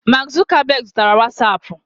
Mark Zuckerberg zụtara wasapu